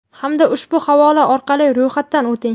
hamda ushbu havola orqali ro‘yxatdan o‘ting!.